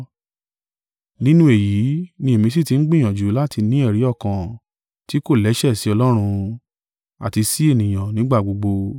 Nínú èyí ni èmi sì ti ń gbìyànjú láti ní ẹ̀rí ọkàn tí kò lẹ́sẹ̀ sí Ọlọ́run, àti sí ènìyàn nígbà gbogbo.